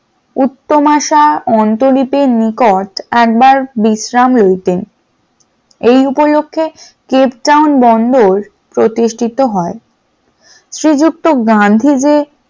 উত্তমাশা অন্তরীপ র নিকট একবার বিশ্রাম লইতেন, এই উপলক্ষে কেপটাউন বন্ধর প্রতিষ্ঠিত হয় । শ্রীযুক্ত গান্ধীজি